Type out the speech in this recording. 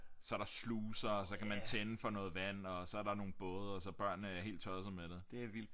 Så er der sluser og så kan man tænde for noget vand og så er der nogle både og så børnene er helt tossede med det